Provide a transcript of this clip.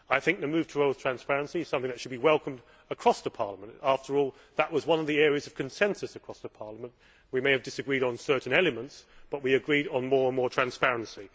I think the move towards transparency is something which should be welcomed across the Parliament. After all, that was one of the areas of consensus across the Parliament we may have disagreed on certain elements, but we agreed on more and more transparency.